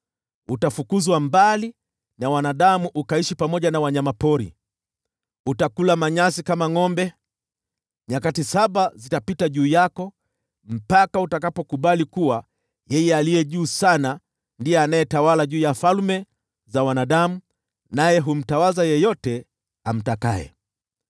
Utafukuzwa mbali na wanadamu, ukaishi pamoja na wanyama pori, na utakula manyasi kama ngʼombe. Nyakati saba zitapita juu yako, mpaka utakapokubali kuwa Yeye Aliye Juu Sana ndiye anayetawala juu ya falme za wanadamu, naye humtawaza yeyote amtakaye.”